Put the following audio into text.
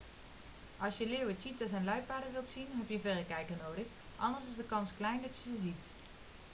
als je leeuwen cheeta's en luipaarden wilt zien heb je een verrekijker nodig anders is de kans klein dat je ze ziet